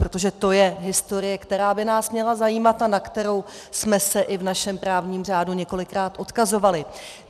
Protože to je historie, která by nás měla zajímat a na kterou jsme se i v našem právním řádu několikrát odkazovali.